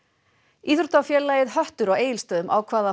íþróttafélagið höttur á Egilsstöðum ákvað að